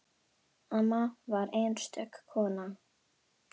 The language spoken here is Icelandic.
Amma var einstök kona.